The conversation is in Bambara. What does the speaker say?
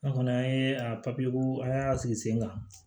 An kɔni an ye ape ko an y'a sigi sen kan